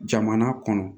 Jamana kɔnɔ